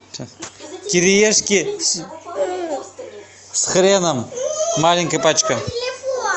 кириешки с хреном маленькая пачка